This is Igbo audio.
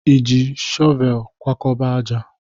Ị jikwa shọvel kwakọba ájá?